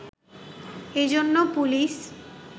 এ জন্য পুলিশ